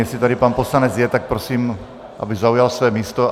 Jestli tady pan poslanec je, tak prosím, aby zaujal své místo.